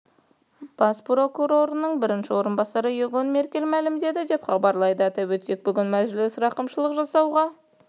бас прокурорының бірінші орынбасары иоганн меркель мәлімдеді деп хабарлайды атап өтсек бүгін мәжіліс рақымшылық жасауға